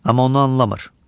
Amma onu anlamır.